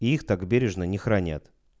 и их так бережно не хранят